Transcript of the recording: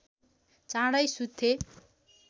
चाँडै सुत्थे